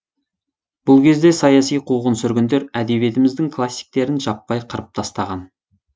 бұл кезде саяси қуғын сүргіндер әдбиетіміздің классиктерін жаппай қырып тастаған